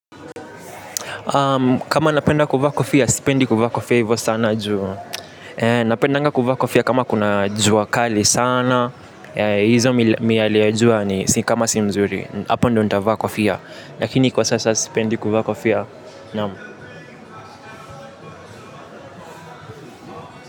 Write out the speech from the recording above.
Kama napenda kuvaa kofia, sipendi kuvaa kofia hivyo sana juu. Napendanga kuvaa kofia kama kuna jua kali sana. Hizo miyale ya jua ni kama si mzuri. Hapo ndo nitavaa kofia. Lakini kwa sasa sipendi kuvaa kofia. Naam.